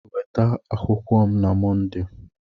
Nweta akwụkwọ m na Mọnde!